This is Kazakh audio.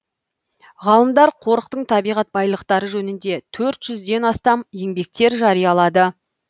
ғалымдар қорықтың табиғат байлықтары жөнінде төрт жүзден астам еңбектер жариялады